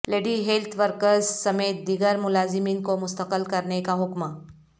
lady health workers سمیت دیگر ملازمین کو مستقل کرنیکا حکم